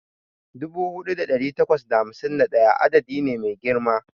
Dubu ɗaya da ɗari takwas da hamsin da ɗaya adadi ne mai girma